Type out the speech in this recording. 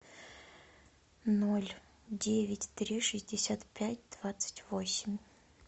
ноль девять три шестьдесят пять двадцать восемь